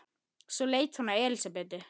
Hver var þessi maður?